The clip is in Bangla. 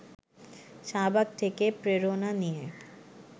শাহবাগ থেকে প্রেরণা নিয়ে